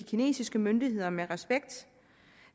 kinesiske myndigheder med respekt